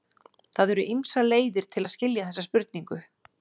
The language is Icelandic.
Það eru ýmsar leiðir til að skilja þessa spurningu.